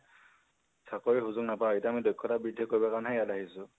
চাকৰি সুজুক নাপাই । এতিয়া মানে আমি দক্ষতা বৃদ্ধি কৰিবলৈহে এয়ালৈ আহিছো